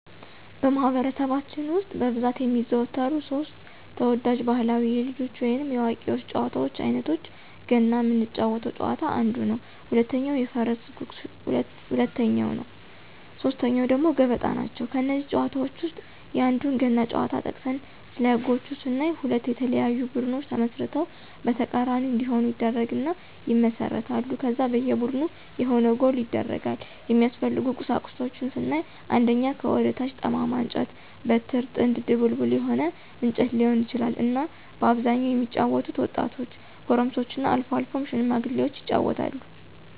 በማኅበረሰባችን ውስጥ በብዛት የሚዘወተሩ ሦስት (3) ተወዳጅ ባሕላዊ የልጆች ወይንም የአዋቂዎች ጨዋታዎች አይነቶቻቸው ገና ምንጫወተው ጨዋታ አንዱ ነው፣ ሁለተኛው የፈረስ ጉግስ ሁለተኛው ነው ሶስተኛው ደግሞ ገበጣ ናቸው። ከእነዚህ ጨዋታዎች ውስጥ የአንዱን ገና ጨዋታ ጠቅሰን ስለህጎች ስናይ ሁለት የተለያዩ ቡድኖች ተመስርተው በተቃራኒ እንዲሆኑ ይደረግና ይመሰረታሉ ከዛ በየ ቡድኑ የሆነ ጎል ይደረጋል፣ የሚያስፈልጉ ቁሳቁሶች ስናይ አንደኛ ከወደ ታች ጠማማ እንጨት(በትር)፣ጥንግ(ድቡልቡል የሆነ እንጨት ሊሆን ይችላል)እና በአብዛኛው የሚጫወቱት ወጣቶች፣ ጎረምሶችና አልፎ አልፎም ሽማግሎች ይጫወታሉ።